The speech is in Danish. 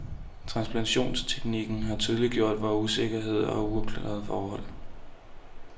Transplantationsteknikken har tydeliggjort vor usikkerhed og uafklarede forhold.